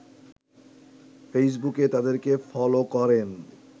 ফেইসবুকে তাদেরকে ফলো করেন